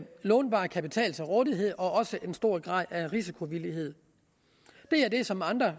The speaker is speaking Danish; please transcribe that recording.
lånbar kapital til rådighed og også en stor grad af risikovillighed det er det som andre